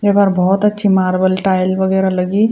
येपर भोत अच्छी मार्बल टाइल वगैरा लगीं।